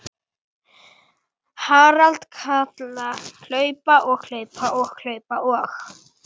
Harald kalla og hlaupa.